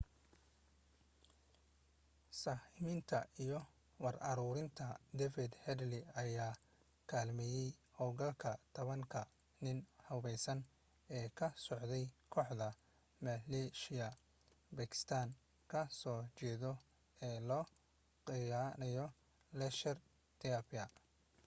sahminta iyo war uruurinta david headley ayaa kaalmeeyey hawlgalka 10ka nin hubeysan ee ka socday kooxda maleeshiyaha bakistaan ka soo jeedo ee loo yaqaano laskhar-e-taiba